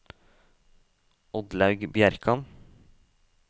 Oddlaug Bjerkan